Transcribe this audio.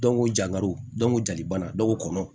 Dɔnko jakaro dɔnko jali bana dɔw ko kɔnɔ